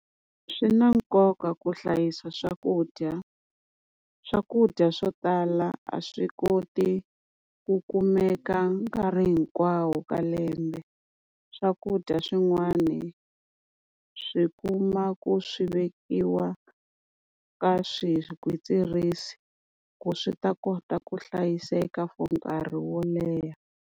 Swi na nkoka ku hlayisa swakudya, swakudya swo tala a swi koti ku kumeka nkarhi hinkwawo ka lembe. Swakudya swin'wani swi kuma ku swi vekiwa ka swigwitsirisi ku swi ta kota ku hlayiseka for nkarhi wo leha.